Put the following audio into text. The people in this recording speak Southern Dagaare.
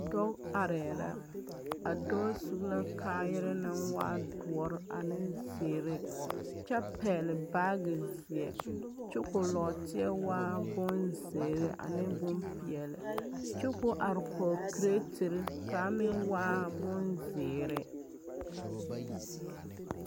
Dɔɔ arɛɛ la a dɔɔ su la kaayarɛɛ naŋ waa doɔ ane zeɛ kyɛ pɛgli baagi zie koo nɔɔteɛ waa boŋ zēēri ane boŋ peɛli kyɛ koo are kɔg kiretiri naŋ waa boŋ zèèri